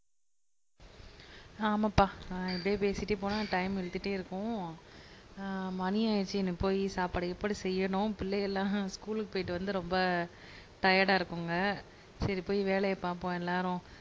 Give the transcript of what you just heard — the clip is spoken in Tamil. ஆமாம்பா ஆஹ் இப்படியே பேசிட்டே போனா டைம் இழுத்துட்டே இருக்கும். ஆஹ் மணி ஆயிருச்சு இனி போய் சாப்பாடு கீப்பாடு செய்யணும் பிள்ளைக எல்லாம் ஸ்கூலுக்கு போயிட்டு வந்து ரொம்ப டயர்டா இருக்குங்க. சரி போய் வேலைய பாப்போம் எல்லாரும்.